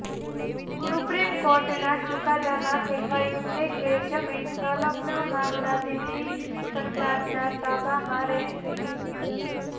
supreme કોર્ટના ચુકાદામાં કહેવાયું છે કે જમીન સંલગ્ન મામલા દિલ્હી સરકારના તાબામાં રહેશે